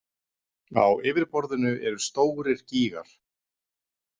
Á yfirborðinu eru stórir gígar.